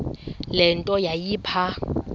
le nto yayipha